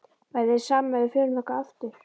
Væri þér sama ef við förum þangað aftur?